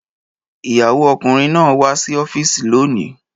Ìyàwó ọkùnrin náà wá sí ọ́fíìsì lónìí